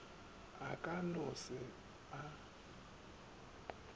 o ka no se a